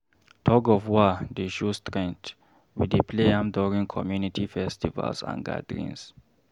Tug-of-war dey show strength, we dey play am during community festivals and gatherings.